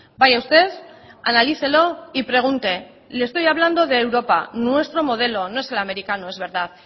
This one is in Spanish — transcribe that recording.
vaya usted analícelo y pregunte le estoy hablando de europa nuestro modelo no es el americano es verdad